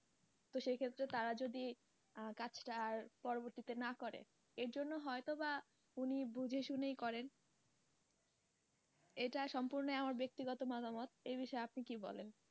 তো সেই ক্ষেত্রে তারা যদি কাজটা আর পরবর্তীতে না করে এর জন্য হয়তো বা উনি বুঝে শুনে করেন এটা সম্পূর্ণ আমার বেক্তিগত মতামত এ বিষয়ে আপনি কী বলেন?